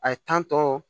A ye tɔ